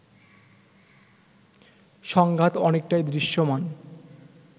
সংঘাত অনেকটাই দৃশ্যমান